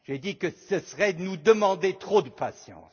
J'ai dit que ce serait nous demander trop de patience.